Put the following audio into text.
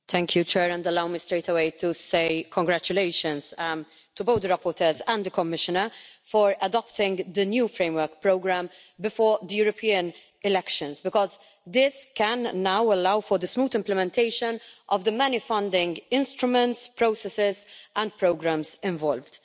Mr President, allow me straight away to say congratulations to both the rapporteurs and the Commissioner for adopting the new framework programme before the European elections, because this can now allow for the smooth implementation of the many funding instruments, processes and programmes involved.